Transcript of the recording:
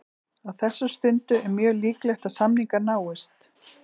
Á þessari stundu er mjög líklegt að samningar náist.